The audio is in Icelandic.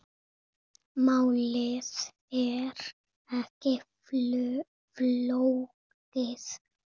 Málið er ekki flókið.